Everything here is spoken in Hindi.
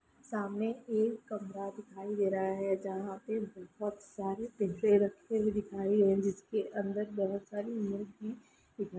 सामने एक कमरा दिखाई दे रहा है जहाँ पे बहुत सारे पिंजरे रखे हुए दिखाई दे रहे है जिसके अंदर बहुत सारी मुर्गी दिखाई --